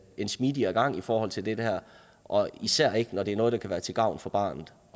en smidigere gang i forhold til det her og især ikke når det er noget der kan være til gavn for barnet